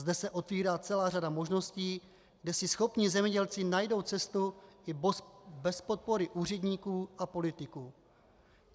Zde se otevírá celá řada možností, kde si schopní zemědělci najdou cestu i bez podpory úředníků a politiků.